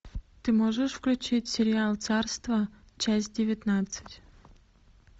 ты можешь включить сериал царство часть девятнадцать